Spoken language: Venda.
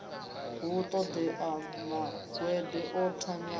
hu ṱoḓea mangwende o thanyaho